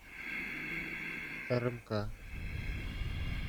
рмк